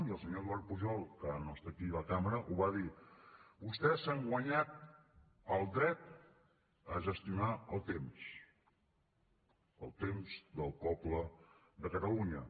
i el senyor eduard pujol que ara no està aquí a la cambra ho va dir vostès s’han guanyat el dret a gestionar el temps el temps del poble de catalunya